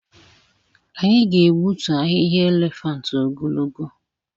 Anyị ga-egbutu ahịhịa elephant ogologo.